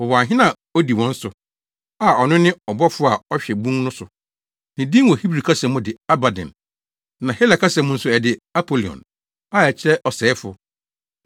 Wɔwɔ ɔhene a odi wɔn so, a ɔno ne ɔbɔfo a ɔhwɛ bun no so. Ne din wɔ Hebri kasa mu de “Abadon” na Hela kasa mu nso, ɛde “Apolion” (a ɛkyerɛ Ɔsɛefo).